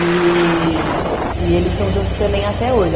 E, e eles estão juntos também até hoje.